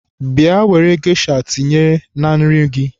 Bịa were gesha tinye na nri gị!